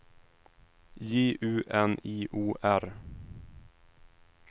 J U N I O R